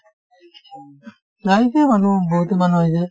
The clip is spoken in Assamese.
আহিছে মানুহ বহুতো মানুহ আহিছে